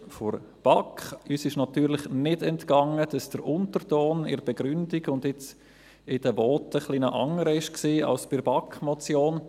der BaK. Uns ist natürlich nicht entgangen, dass der Unterton in der Begründung und jetzt in den Voten ein wenig anders war als bei der BaK-Motion.